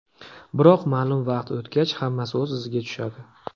Biroq ma’lum vaqt o‘tgach, hammasi o‘z iziga tushadi.